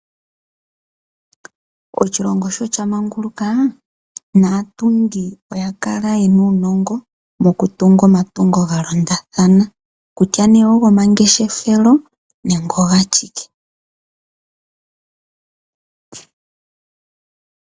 Oshilongo shoo shamanguluka naatungi oyakala yena uunongo mokutunga omatungo galondathana, kusha nee ogomangeshefelo nenge ogashike.